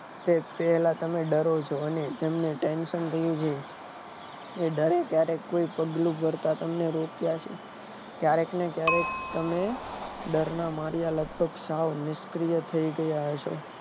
તમે ડરો છો અને તમને tension રહ્યું છે એ ડરે કયારે કોઈ તકલીફ પડતે રોક્યા છે કયારેક ને કયારેક તમે ડરના માર્યા સાઓ નિષ્ક્રિય થઇ ગયા હશો